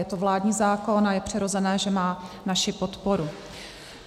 Je to vládní zákon a je přirozené, že má naši podporu.